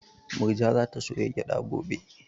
Murja za ta soya gyada gobe